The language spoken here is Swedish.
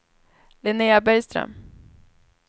Linnea Bergström